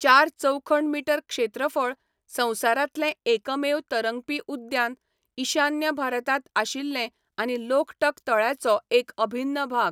चार चौखण मिटर क्षेत्रफळ, संवसारांतलें एकमेव तरंगपी उद्यान, ईशान्य भारतांत आशिल्लें आनी लोकटक तळ्याचो एक अभिन्न भाग.